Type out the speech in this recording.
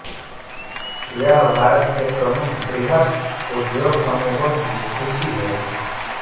यह भारत के प्रमुख वृहत उद्योग समूहों की सूचि है